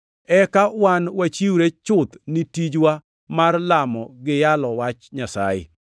eka wan wachiwre chuth ni tijwa mar lamo gi yalo Wach Nyasaye.”